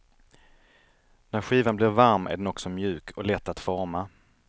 När skivan blir varm är den också mjuk och lätt att forma.